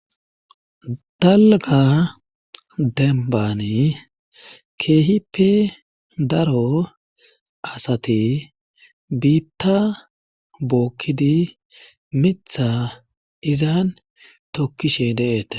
dalga dembani keehipe daro asati biitta bookkidi mitha izan tokkishe deeete